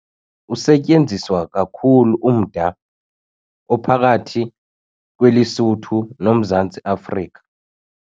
Usetyenziswa kakhulu umda ophakathi kweLesotho noMzantsi Afrika.